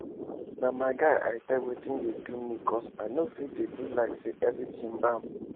na my guy i tell wetin dey do me cos i nor fit dey do like say everything bam